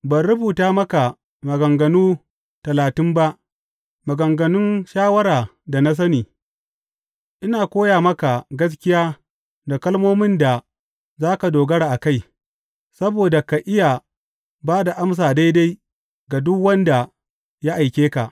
Ban rubuta maka maganganu talatin ba, maganganun shawara da sani, ina koya maka gaskiya da kalmomin da za ka dogara a kai, saboda ka iya ba da amsa daidai ga duk wanda ya aike ka?